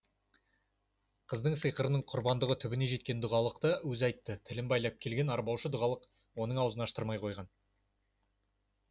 қыздың сиқырының құрбандығы түбіне жеткен дұғалықты өзі айтты тілін байлап келген арбаушы дұғалық оның аузын аштырмай қойған